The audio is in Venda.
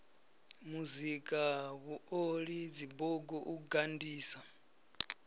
muzika vhuoli dzibugu u gandisa